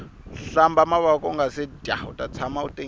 hlamba mavoko ungase dya uta tshama u tengile